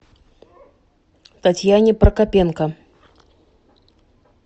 татьяне прокопенко